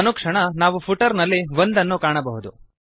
ಅನುಕ್ಷಣ ನಾವು ಫುಟರ್ ನಲ್ಲಿ 1 ಅನ್ನು ಕಾಣಬಹುದು